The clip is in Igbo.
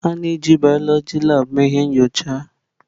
A na-eji biọloji labụ mee ihe nyocha.